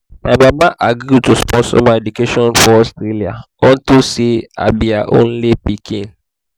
my mama agree to sponsor my education for austria unto say i be her only pikin